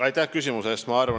Aitäh küsimuse eest!